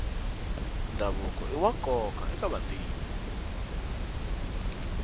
ndhavuko iwa nkoka eka vantima